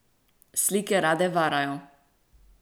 Slike rade varajo.